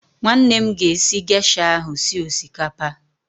Nwanne m ga-esi gesha ahụ sie osikapa